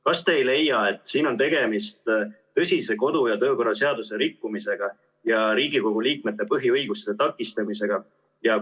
Kas te ei leia, et siin on tegemist tõsise kodu- ja töökorra seaduse rikkumisega ja Riigikogu liikmete põhiõiguste takistamisega?